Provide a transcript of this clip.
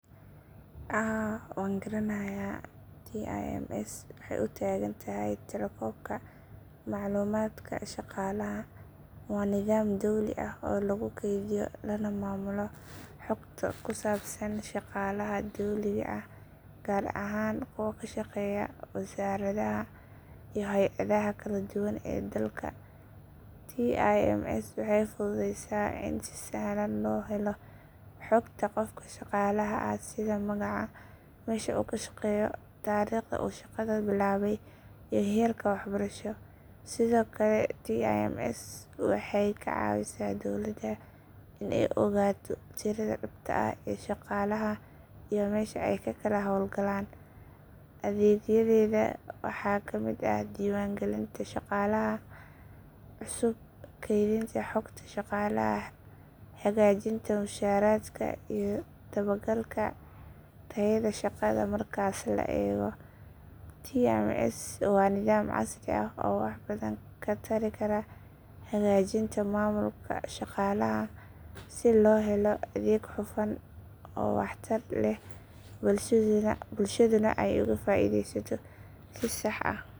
Haa waan garanayaa tims waxay u taagan tahay tirakoobka macluumaadka shaqaalaha waa nidaam dawli ah oo lagu kaydiyo lana maamulo xogta ku saabsan shaqaalaha dawliga ah gaar ahaan kuwa ka shaqeeya wasaaradaha iyo hay’adaha kala duwan ee dalka tims waxay fududeysaa in si sahlan loo helo xogta qofka shaqaalaha ah sida magaca meesha uu ka shaqeeyo taariikhda uu shaqada bilaabay iyo heerka waxbarasho sidoo kale tims waxay ka caawisaa dawladda in ay ogaato tirada dhabta ah ee shaqaalaha iyo meesha ay ka kala hawlgalaan adeegyadeeda waxaa ka mid ah diiwaangelinta shaqaalaha cusub kaydinta xogta shaqaalaha hagaajinta mushaaraadka iyo dabagalka tayada shaqada marka la eego tims waa nidaam casri ah oo wax badan ka tari kara hagaajinta maamulka shaqaalaha si loo helo adeeg hufan oo waxtar leh bulshaduna ay uga faa’iideyso si sax ah.